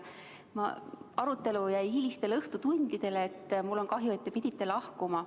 Arutelu jäi hilistele õhtutundidele ning mul on kahju, et te pidite lahkuma.